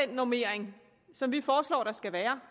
den normering som vi foreslår at der skal være